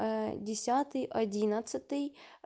десятый одиннадцатый